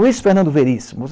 Luiz Fernando Veríssimo.